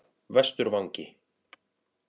Vesturvangi